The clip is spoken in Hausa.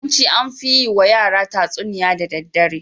Yawanci an fi yiwa yara tatsuniya da daddare.